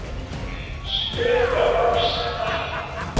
spurði Ásta.